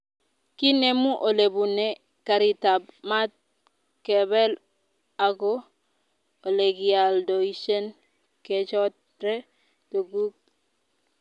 kinemu olebune karitab maat kebeel ago olegialdoishen kechore tuguk